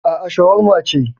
Aa, shawarma ce